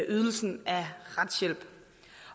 ydelsen af retshjælp